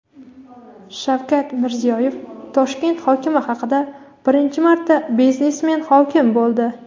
Shavkat Mirziyoyev Toshkent hokimi haqida: "Birinchi marta biznesmen hokim bo‘ldi".